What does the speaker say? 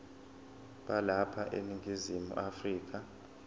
balapha eningizimu afrika